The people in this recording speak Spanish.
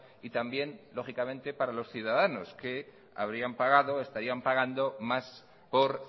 y también lógicamente para los ciudadanos que habrían pagado estarían pagando más por